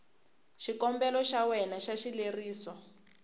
xikombelo xa wena xa xileriso